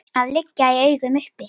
að liggja í augum uppi.